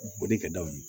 Boli ka d'aw ye